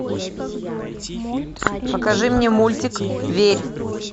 покажи мне мультик верь